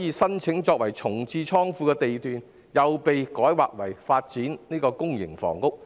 擬申請作重置倉庫的地段卻被改劃為發展公營房屋。